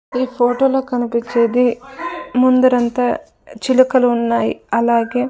ఈ ఫోటో లో కనిపిచ్చేది ముందర అంతా చిలుకలు ఉన్నాయ్ అలాగే --